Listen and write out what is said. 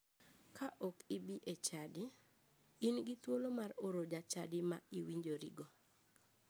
Ka ok ibi echadi, in gi thuolo mar oro jachadi ma iwinjorigo.